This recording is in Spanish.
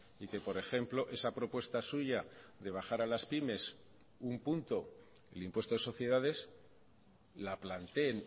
y que por ejemplo esa propuesta suya de bajar a las pymes un punto el impuesto de sociedades la planteen